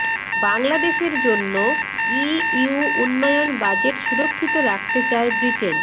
বাংলাদেশের জন্য ইইউ উন্নয়ন বাজেট সুরক্ষিত রাখতে চায় ব্রিটেন